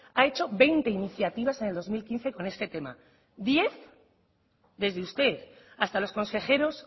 ha hecho veinte iniciativas en el dos mil quince con este tema diez desde usted hasta los consejeros